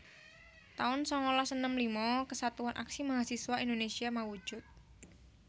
taun sangalas enem lima Kesatuan Aksi Mahasiswa Indonésia mawujud